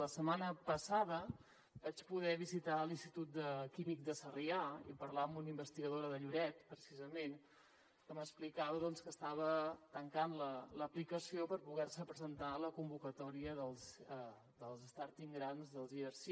la setmana passada vaig poder visitar l’institut químic de sarrià i parlar amb una investigadora de lloret precisament que m’explicava que estava tancant l’aplicació per poder se presentar a la convocatòria dels starting grants dels erc